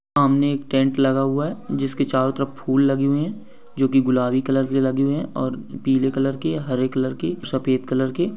सामने एक टेंट लगा हुआ है जिसके चारो तरफ फुल लगे हुए है जो की गुलाबी कलर के लगे है और पीले कलर के हरे कलर के सफ़ेद कलर के--